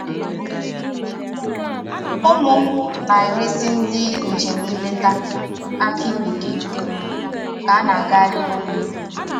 Ụmụ m na-eresi ndị njem nleta akị bekee dị mma ka a na-agagharị n'ubi